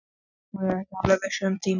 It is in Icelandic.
Hún var ekki alveg viss um tíma.